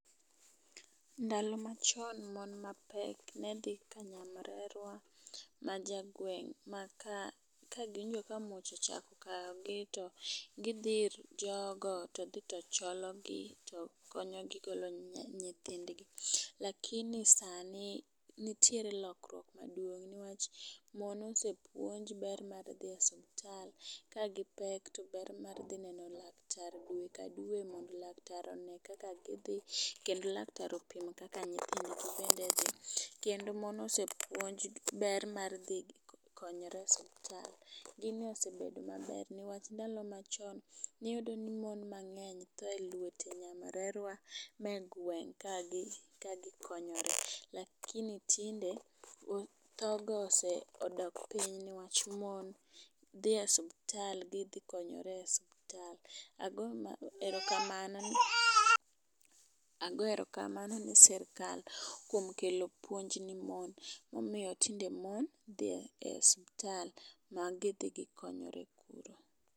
Ndalo machon mon mapek ne dhi ka nyamrerwa majagweng' maka ka giwinjo ka muoch ochako kayogi to gidhi ir jogo to dhi to cholo gi to konyo gi golo nya nyithindgi. Lakini sani nitiere lokwuok maduong newach mon osepuonji ber mar dhi e osiptal kagi pek to ber mar dhi neno laktar dwe ka dwe mondo laktar one kaka gidhi kendo laktar opim kaka nyithindgi bende dhi. Kendo mon osepuonjo jii ber mar dhi konyore e osiptal . Gini osebedo maber newach ndalo machon niyudo ni mon mang'eny tho e lwete nyamrerwa mae gweng' ka gi kagi konyore lakini tinde tho go ose odok piny newach mon dhi osiptal gidhi e osiptal ago erokamano. Ago erokamano ne srikal kuom kelo puonj ne mon momiyo tinde mon dhi e osiptal ma gidhi gikonyore kuro.